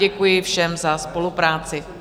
Děkuji všem za spolupráci.